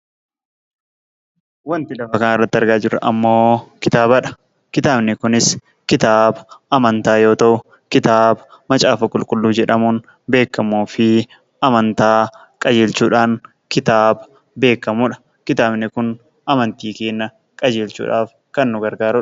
Wanti lafa kanarratti argaa jirru immoo kitaabadha. Kitaabni kunis kitaaba amantaa yoo ta'u, kitaaba Macaafa Qulqulluu jedhamuun beekamuu fi amantaa qajeelchuudhaan kitaaba beekamudha. Kitaabni kun amantii keenya qajeelchuudhaaf kan nu gargaarudha.